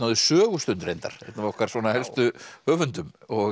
sögustund reyndar einn af okkar helstu höfundum